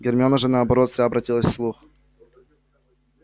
гермиона же наоборот вся обратилась в слух